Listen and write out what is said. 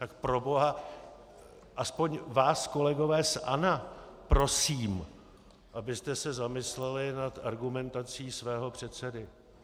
Tak proboha, aspoň vás, kolegové z ANO, prosím, abyste se zamysleli nad argumentací svého předsedy.